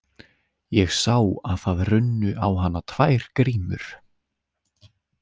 Ég sá að það runnu á hana tvær grímur.